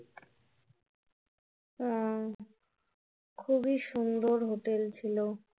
আহ খুবই সুন্দর hotel ছিলো